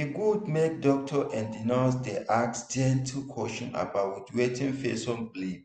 e good make doctor and nurse dey ask gentle question about wetin person believe